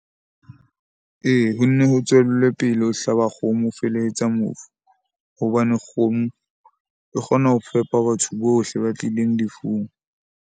Ee, ho nne ho tswellwe pele ho hlaba kgomo ho felehetsa mofu hobane kgomo e kgona ho fepa batho bohle ba tlileng lefung.